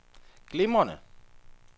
glimrende